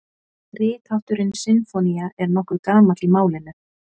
Rithátturinn sinfónía er nokkuð gamall í málinu.